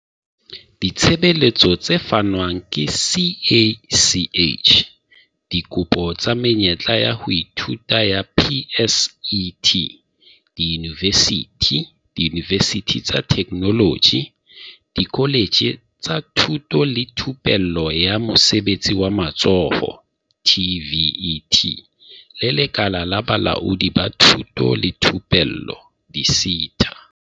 Ditshebeletso tse fanwang ke CACH Dikopo tsa menyetla ya ho ithuta ya PSET diyunivesithi, diyunivesithi tsa Theknoloji, dikoletje tsa Thuto le Thupello ya Mosebetsi wa Matsoho, TVET, le Lekala la Bolaodi ba Thuto le Thupello di-SETA.